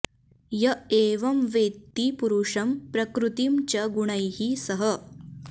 य एवं वेत्ति पुरुषं प्रकृतिं च गुणैः सह